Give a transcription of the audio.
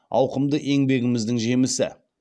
ауқымды еңбегіміздің жемісі